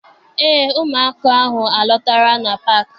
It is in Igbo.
Eé, ụmụaka ahụ alọtara na paakị.